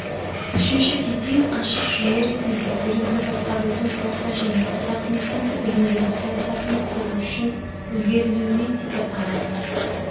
үшінші кезең ашық жүйе ретінде білімді басқарудың орта және ұзақ мерзімді білім беру саясатын құру үшін ілгерілеуімен сипатталады